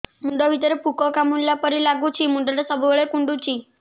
ମୁଣ୍ଡ ଭିତରେ ପୁକ କାମୁଡ଼ିଲା ପରି ଲାଗୁଛି ମୁଣ୍ଡ ଟା ସବୁବେଳେ କୁଣ୍ଡୁଚି